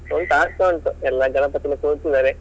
ಉಂಟು ಆಗ್ತಾ ಉಂಟು ಎಲ್ಲ ಗಣಪತಿಯನ್ನ ಕೂರ್ಸಿದ್ದಾರೆ.